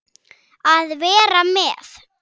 Að vera með